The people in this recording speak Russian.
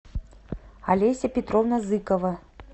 олеся петровна зыкова